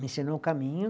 Me ensinou o caminho.